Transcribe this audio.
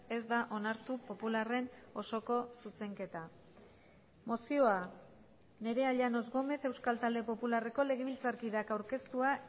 ez da onartu popularren osoko zuzenketa mozioa nerea llanos gómez euskal talde popularreko legebiltzarkideak aurkeztua